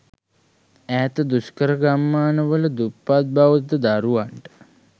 ඈත දුෂ්කර ගම්මාන වල දුප්පත් බෞද්ධ දරුවන්ට